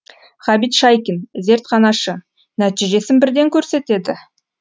ғабит шайкин зертханашы нәтижесін бірден көрсетеді